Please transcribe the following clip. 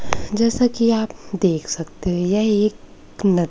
जैसा कि आप देख सकते हैं यह एक न--